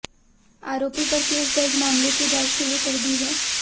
आरोपी पर केस दर्ज मामले की जांच शुरू कर दी है